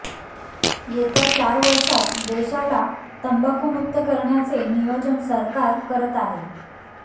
येत्या चार वर्षात देशाला तंबाखूुमुक्त करण्याचे नियोजन सरकार करत आहे